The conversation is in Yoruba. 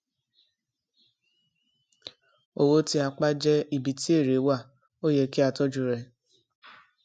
owó tí a pa jẹ ibi tí èrè wà ó yẹ kí a tojú rẹ